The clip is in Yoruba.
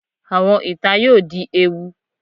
Awọn ita yoo di ewu